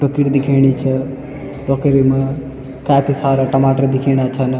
ककड़ी दिखेणी च टोकरी म काफी सारा टमाटर दिखेणा छन।